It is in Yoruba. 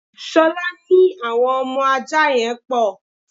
Ṣolá ní àwọn ọmọ ajá yẹn pò.